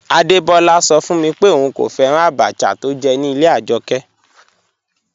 Adebọla sọ fun mi pé óún kò fẹ́ràn àbàchà tó jẹ̀ ní ilẹ̀ Ajọkẹ.